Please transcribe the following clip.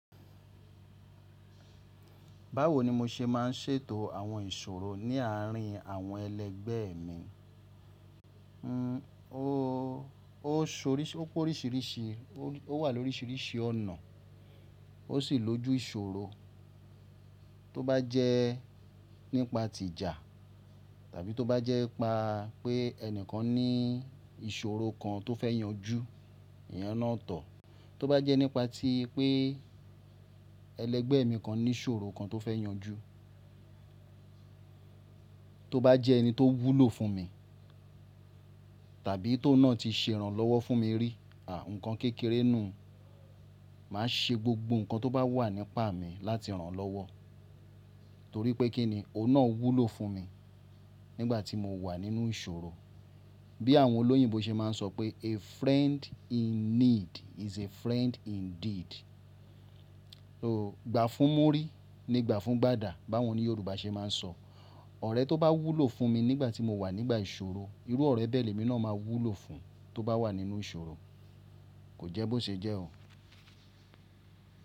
Báwo ni mo ṣe máa ń ṣètò àwọn ìṣòro ní àárín àwọn ẹlẹgbẹ́ mi? Hhn, ó sóríṣi, ó kó oríṣìíríṣìí, ó wà lóríṣìíríṣìí ọ̀nà. Ó sì lójú ìṣòro. Tóbá jẹ nípa tìjà tàbí tóbá jẹ pa pé ẹni kan ní ìṣòro kan tó fẹ́ yanjú, èèyàn náà tọ̀. Tóbá jẹ nípa tí pé ẹlẹgbẹ́ mi kan ní ìṣòro kan tó fẹ́ yanjú. Tóbá jẹ ẹni tó wúlò fún mi tàbí tó n náà ti ṣe ìrànlọ́wọ́ fún mi rí, àà, nǹkan kékeré nù, màá ṣe gbogbo nǹkan tó bá wà nípa mi láti rànlọ́wọ́. Nítorí pé kí ni ó náà wúlò fún mi nígbà tí mo wà nínú ìṣòro. Bí àwọn olóyìnbo ṣe máa ń sọ pé “A friend in need is a friend indeed”. Ó, ìgbà fún múrí ní ìgbà fún gbàdà báwọn ni Yorùbá ṣe máa ń sọ. Ọ̀rẹ́ tó bá wúlò fún mi nígbà tí mo wà nígbà ìṣòro, irú ọ̀rẹ́ bẹ́ẹ̀ ni mí náà máa wúlò fún tó bá wà nínú ìṣòro. Kò jẹ́ bó ṣe jẹ́ o.